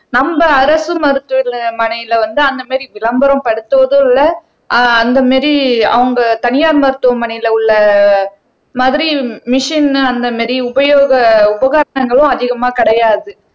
நம்ம அரசு மருத்துவமனையில வந்து அந்த மாதிரி விளம்பரப்படுத்துவதும் இல்லை ஆஹ் அந்த மாதிரி அவங்க தனியார் மருத்துவமனையில உள்ள மாதிரி மெஷின் அந்த மாதிரி உபயோக உபகரணங்களும் அதிகமா கிடையாது